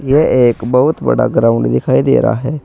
यह एक बहुत बड़ा ग्राउंड दिखाई दे रहा है।